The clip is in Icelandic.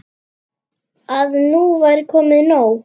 Að nú væri komið nóg.